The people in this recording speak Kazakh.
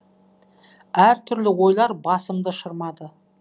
әр түрлі ойлар басымды шырмады